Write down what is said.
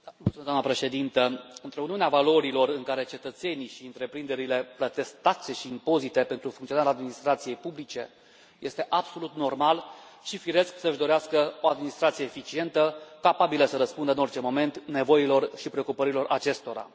Doamnă președintă, într o Uniune a valorilor, în care cetățenii și întreprinderile plătesc taxe și impozite pentru funcționarea administrației publice, este absolut normal și firesc să și dorească o administrație eficientă, capabilă să răspundă în orice moment nevoilor și preocupărilor acestora.